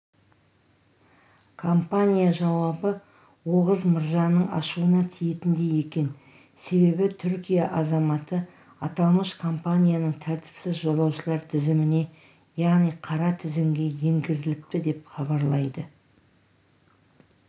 компания жауабы оғыз мырзаның ашуына тиетіндей екен себебі түркия азаматы аталмыш компанияның тәртіпсіз жолаушылар тізіміне яғни қара тізімге енгізіліпті деп хабарлайды